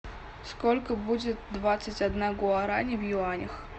сколько будет двадцать одна гуарани в юанях